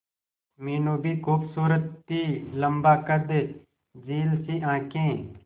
मीनू भी खूबसूरत थी लम्बा कद झील सी आंखें